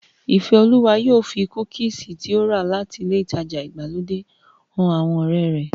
Ìkẹ́olúwa yóò fi kúkìsì tí ó rà láti ilé ìtajà ìgbàlódé han àwọn ọ̀rẹ́ rẹ̀